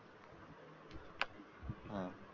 हा,